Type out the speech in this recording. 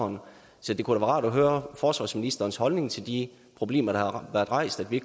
så det kunne da være rart at høre forsvarsministerens holdning til de problemer der har været rejst så vi